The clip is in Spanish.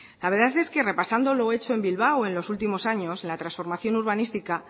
la verdad es que repasando lo hecho en bilbao en los últimos años la transformación urbanística